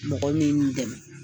Mɔgɔ minnu dɛmɛ